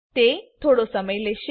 તે થોડો સમય લેશે